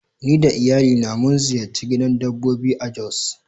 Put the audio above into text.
Ni da iyalina mun ziyarci gidan dabbobi a jos.